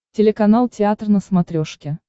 телеканал театр на смотрешке